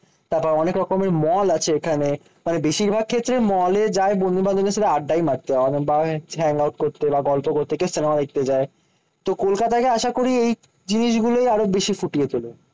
তারপর অনেক রকমের মল আছে এখানে। তবে বেশিরভাগ ক্ষেত্রে মলে যায় বন্ধু বান্ধবদের সাথে আড্ডাই মারতে। হ্যাং আউট করতে বা গল্প করতে কেউ সিনেমা দেখতে যায়। তো কলকাতাকে আশাকরি এই জিনিসগুলোই আরো বেশি ফুটিয়ে তোলে।